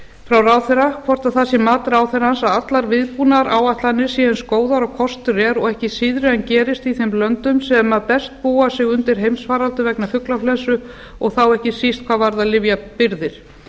frá ráðherra hvort það sé mat ráðherrans að allar viðbúnaðaráætlanir séu eins góðar og kostur er og ekki síðri en gerist í þeim löndum sem best búa sig undir heimsfaraldur vegna fuglaflensu og þá ekki síst hvað varðar lyfjabirgðir